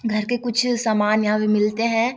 घर के कुछ सामान यहाँ पे मिलते है।